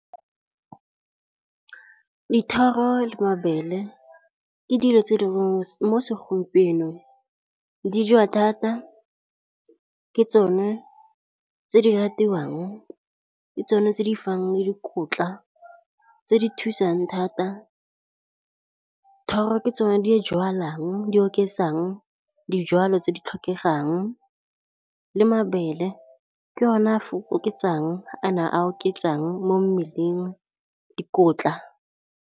Dithoro le mabele ke dilo tse di mo segompienong di jewa thata, ke tsone tse di ratiwang, ke tsone tse di fang dikotla tse di thusang thata, thoro ke tsone di jalwang di oketsang dijalo tse di tlhokegang le mabele ke yone a oketsang kana a oketsang mo mmeleng dikotla.